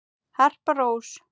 Harpa Rós.